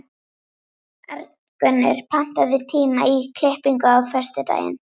Arngunnur, pantaðu tíma í klippingu á föstudaginn.